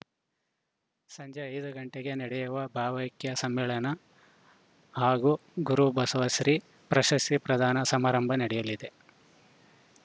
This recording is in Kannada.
ಸಂಜೆ ಐದು ಗಂಟೆಗೆ ನಡೆಯುವ ಭಾವೈಕ್ಯ ಸಮ್ಮೇಳನ ಹಾಗೂ ಗುರುಬಸವಶ್ರೀ ಪ್ರಶಸ್ತಿ ಪ್ರದಾನ ಸಮಾರಂಭ ನಡೆಯಲಿದೆ